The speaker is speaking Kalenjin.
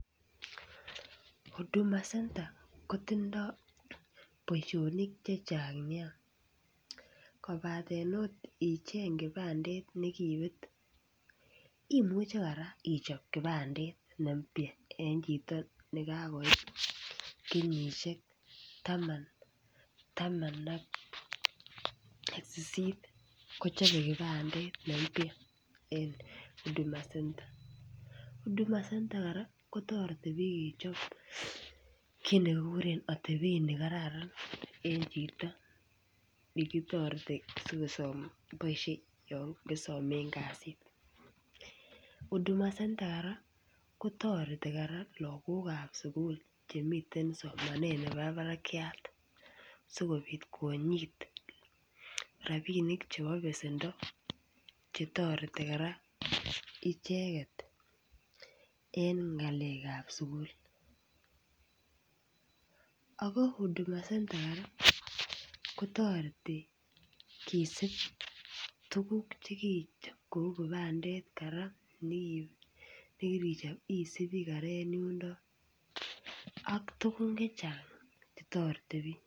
Huduma center kotindoi boisionik Che Chang Nia kobaten okot icheng kibandet nekibet imuche kora ichob kibandet ne mpya en chito nekakoit kenyisiek taman ak sisit kochobe kibandet ne mpya en huduma center huduma center kora kotoreti bik kechob kit nekikuren atebet nekararan en chito nekitoreti asi kosome keboisien yon kisomen kasit huduma center kora kotoreti lagok ab sukul Che miten somanet nebo barakyat asikobit konyit rabinik chebo besendo Che toreti kora icheget en ngalekab sukul ako huduma center kora kotoreti kisib tuguk Cheu kibandet kora nekibet nekirichob isubi kora en yuniton ak tuguk Che Chang Che toreti bik